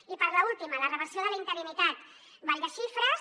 i per a l’última la reversió de la interinitat ball de xifres